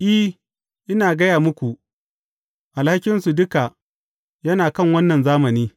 I, ina gaya muku, alhakinsu duka yana kan wannan zamani.